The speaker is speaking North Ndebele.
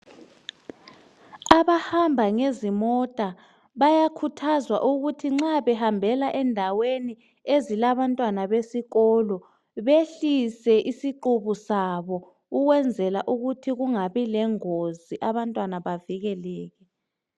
Abahamba ngezimota bayakhuthazwa ukuthi nxa behambela endaweni ezilabantwana besikolo behlise isiqubu sabo ukwenzela ukuthi kungabi lengozi abantwana bavikeleke.